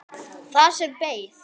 Það sem beið.